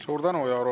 Suur tänu!